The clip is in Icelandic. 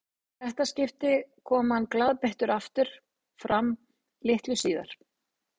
Í þetta skipti kom hann glaðbeittur aftur fram litlu síðar.